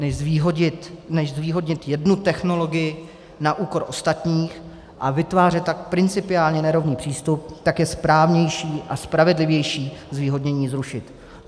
Než zvýhodnit jednu technologii na úkor ostatních a vytvářet tak principiálně nerovný přístup, tak je správnější a spravedlivější zvýhodnění zrušit.